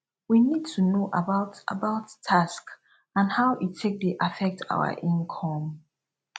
we need to know about about tax and how e take dey affect our income